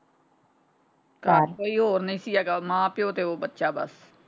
ਘਰ ਕੋਈ ਹੋਰ ਨਹੀਂ ਸੀ ਹੈਗਾ ਮਾਂ ਪਿਓ ਤੇ ਉਹ ਬੱਚਾ ਬਸ।